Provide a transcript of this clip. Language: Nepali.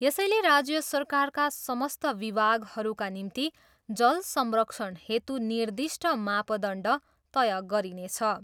यसैले राज्य सरकारका समस्त विभागहरूका निम्ति जल संरक्षण हेतु निर्दिष्ट मापदण्ड तय गरिनेछ।